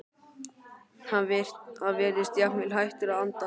Hann virðist jafnvel hættur að anda.